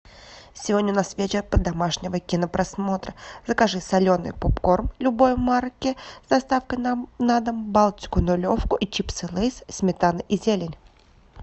сегодня у нас вечер домашнего кинопросмотра закажи соленый попкорн любой марки с доставкой на дом балтику нулевку и чипсы лейс сметана и зелень